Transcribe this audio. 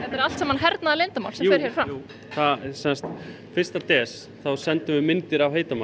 er allt hernaðarleyndarmál jú fyrsta desember sendum við myndir af heitum mat